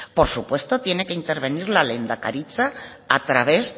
por supuesto tiene que intervenir la lehendakaritza a través